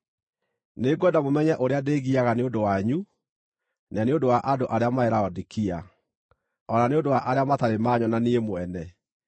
Nĩngwenda mũmenye ũrĩa ndĩĩgiaga nĩ ũndũ wanyu, na nĩ ũndũ wa andũ arĩa marĩ Laodikia, o na nĩ ũndũ wa arĩa matarĩ maanyona niĩ mwene.